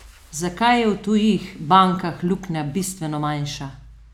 Zakaj je v tujih bankah luknja bistveno manjša?